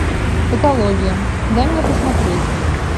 патология дай мне посмотреть